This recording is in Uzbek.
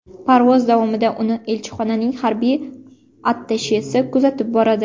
Parvoz davomida uni elchixonaning harbiy attashesi kuzatib boradi.